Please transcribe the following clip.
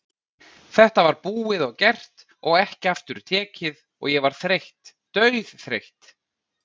Þetta var búið og gert og ekki aftur tekið og ég var þreytt, dauðþreytt.